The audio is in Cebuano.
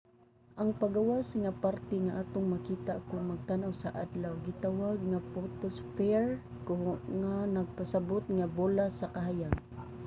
ang panggawas nga parte nga atong makita kon magtan-aw sa adlaw gitawag nga photosphere nga nagpasabut nga bola sa kahayag